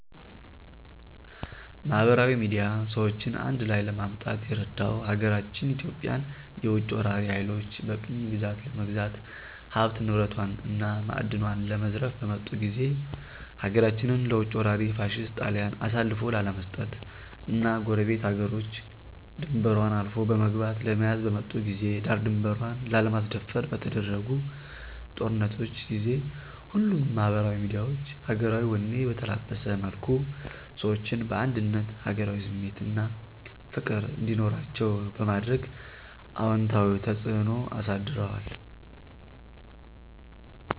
ማህበራዊ ሚድያ ሰዎችን አንድላይ ለማምጣት የረዳው ሀገራችን ኢትዮጵያን የውጭ ወራሪ ሀይሎች በቅኝ ግዛት ለመግዛት ሀብት ንብረቷን እና ማእድኗን ለመዝረፍ በመጡ ጊዜ ሀገራችንን ለውጭ ወራሪ ፋሽስት ጣሊያን አሳልፎ ላለመስጠት እና ጎረቤት ሀገሮች ድንበሯን አልፎ በመግባት ለመያዝ በመጡ ጊዜ ዳር ድንበሯን ላለማስደፈር በተደረጉ ጦርነቶች ጊዜ ሁሉም ማህበራዊ ሚዲያዎች ሀገራዊ ወኔ በተላበሰ መልኩ ሰዎችን በአንድነት ሀገራዊ ስሜት አና ፍቅር እንዲኖራቸዉ በማድረግ አወንታዊ ተጽእኖ አሳድረዋል።